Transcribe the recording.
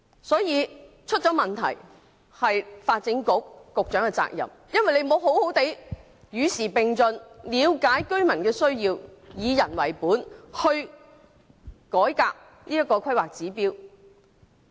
所以，發展局局長是責無旁貸的，他沒有與時並進，了解居民的需要，以人為本改革《規劃標準》。